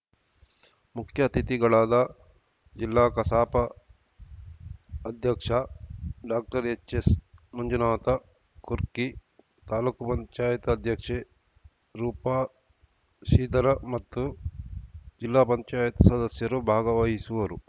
ಮುಖ್ಯ ಅತಿಥಿಗಳಾದ ಜಿಲ್ಲಾ ಕಸಾಪ ಅಧ್ಯಕ್ಷ ಡಾಕ್ಟರ್ ಎಚ್‌ಎಸ್‌ ಮಂಜುನಾಥ ಕುರ್ಕಿ ತಾಲ್ಲುಕು ಪಂಚಾಯತ್ ಅಧ್ಯಕ್ಷೆ ರೂಪಾ ಶ್ರೀಧರ್‌ ಮತ್ತು ಜಿಲ್ಲಾ ಪಂಚಾಯತ್ ಸದಸ್ಯರು ಭಾಗವಹಿಸುವರು